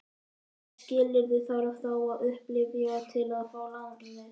Hvaða skilyrði þarf þá að uppfylla til að fá lánið?